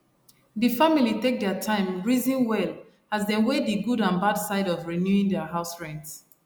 de family take their time reason well as dem weigh the good and bad side of renewing their house rent